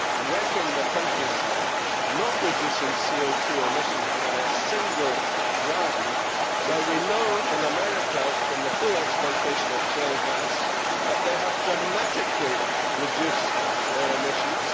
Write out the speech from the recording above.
wrecking the countryside and not reducing CO2 emissions by a single gram. Now we know in America from the full exploitation of shale gas that they have dramatically reduced their emissions.